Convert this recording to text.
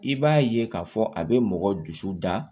I b'a ye k'a fɔ a bɛ mɔgɔ dusu da